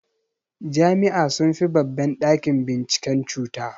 Jami'a sunfi babban ɗakin binciken cuta.